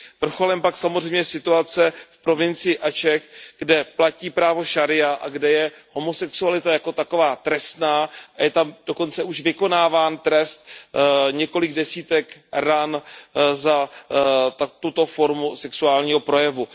Vrcholem je pak samozřejmě situace v provincii Aceh, kde platí právo šaría a kde je homosexualita jako taková trestná a je tam dokonce už vykonáván trest několik desítek ran za tuto formu sexuálního projevu.